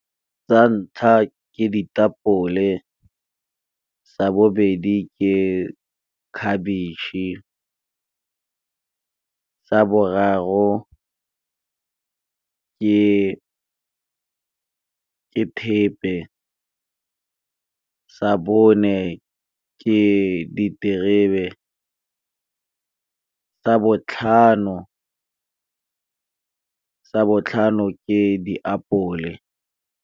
Sa ntlha ke ditapole sa bobedi ke khabetšhe ka sa boraro ke thepe sa bone ke diterebe sa botlhano ke diapole.